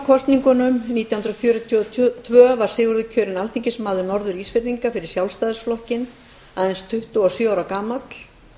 sjötíu í sumarkosningunum nítján hundruð fjörutíu og tvö var sigurður kjörinn alþingismaður norður ísfirðinga fyrir sjálfstæðisflokkinn aðeins tuttugu og sjö ára gamall